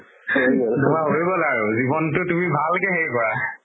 তুমাৰ হয় গ'ল আৰু জিৱনতো তুমি ভালকে সেই কৰা